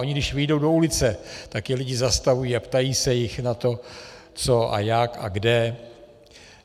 Oni když vyjdou do ulice, tak je lidé zastavují a ptají se jich na to, co a jak a kde.